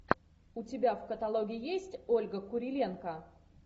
у тебя в каталоге есть ольга куриленко